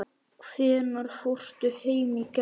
Hvenær fórstu heim í gær?